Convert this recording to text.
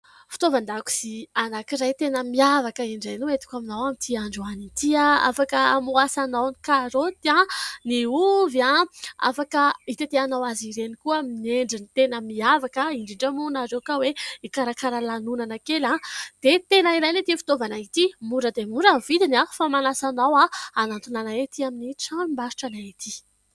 Fitaovan-dakozia anankiray tena miavaka indray no entiko aminao amin'ity androany ity. Afaka hamohasanao : ny karoty, ny ovy. Afaka hitetehanao azy ireny koa amin'ny endriny tena miavaka. Indrindra moa ianareo ka hoe hikarakara lanonana kely dia tena ilaina ity fitaovana ity ; mora dia mora vidiny fa manasa anao hanantona ety amin'ny tranombarotra anay ety.